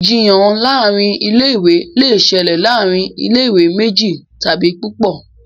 Ìjiyàn láàrin ilé ìwé lẹ ṣẹlẹ láàrin ilé ìwé méjì tàbí púpọ.